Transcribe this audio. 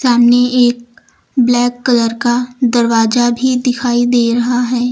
सामने एक black colour का दरवाजा भी दिखाई दे रहा है।